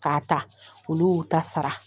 K'a ta olu y'u ta sara .